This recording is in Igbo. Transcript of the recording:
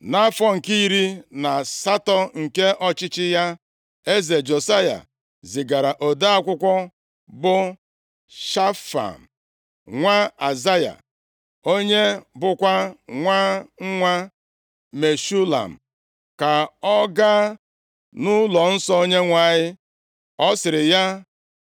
Nʼafọ nke iri na asatọ nke ọchịchị ya, eze Josaya, zigara ode akwụkwọ bụ Shefan nwa Azalaya, onye bụkwa nwa nwa Meshulam, ka ọ gaa nʼụlọnsọ Onyenwe anyị. Ọ sịrị ya,